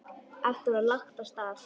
Aftur var lagt af stað.